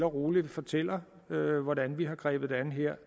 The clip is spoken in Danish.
roligt fortæller hvordan vi har grebet det her